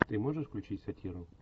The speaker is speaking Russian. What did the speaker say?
ты можешь включить сатиру